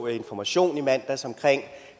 i information i mandags om